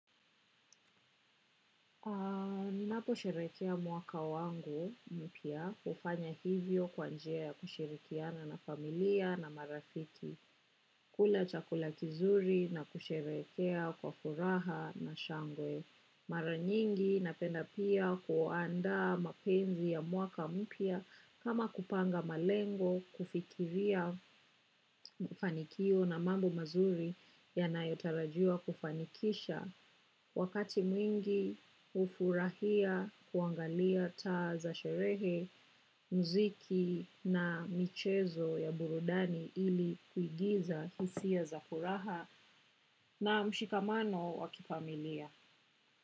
Naposherehekea mwaka wangu mpya hufanya hivyo kwa njia ya kushirikiana na familia na marafiki. Kula chakula kizuri na kusherehekea kwa furaha na shangwe. Mara nyingi napenda pia kuandaa mapenzi ya mwaka mpya, kama kupanga malengo, kufikiria fanikio na mambo mazuri yanayotarajiwa kufanikisha. Wakati mwingi hufurahia kuangalia taa za sherehe, muziki na michezo ya burudani ili kuigiza hisia za furaha na mshikamano wa kifamilia.